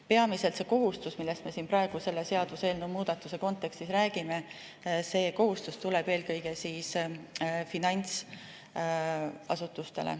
See kohustus, millest me praegu selle seaduseelnõu kontekstis räägime, tuleb eelkõige finantsasutustele.